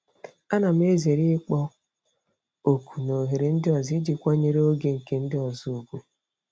Ana m ezere ịkpọ oku na oghere ndị ọzọ iji kwanyere oge nke ndị ọzọ ùgwù.